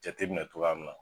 Jateminɛ cogoya min na